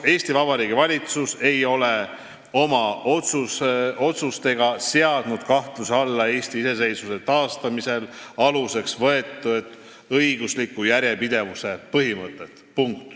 " Eesti Vabariigi valitsus ei ole oma otsustega seadnud kahtluse alla Eesti iseseisvuse taastamisel aluseks võetud õigusliku järjepidevuse põhimõtet.